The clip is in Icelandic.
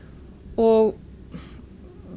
og